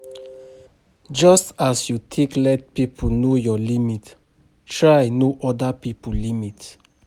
Just as you take let pipo know your limit, try know oda pipo limit